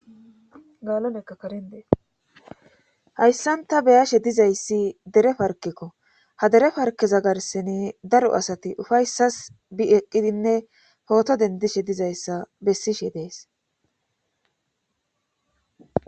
gaalonekka karindeeshayssanta beyashe dizayssi dere parkekko ha dere parkeza garseni daro asati ufayssas bi eqqidinne pooto dendishe dizayssa bessishe dees